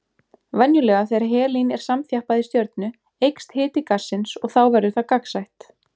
Venjulega þegar helín er samþjappað í stjörnu eykst hiti gassins og þá verður það gagnsætt.